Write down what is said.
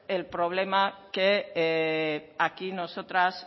el problema que aquí nosotras